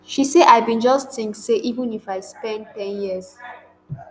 she say i bin just tink say even if i spend ten years